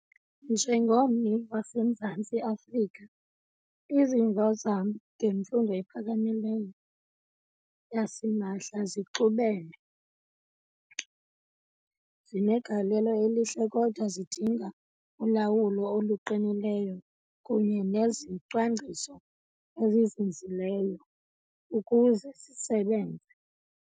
Mjengommi waseMzantsi Afrika, izimvo zam ngemfundo ephakamileyo yasimahla zixubene. Zinegalelo elihle kodwa zidinga ulawulo oluqinileyo kunye nezicwangciso ezizinzileyo ukuze zisebenze.